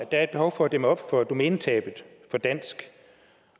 er et behov for at dæmme op for domænetabet på dansk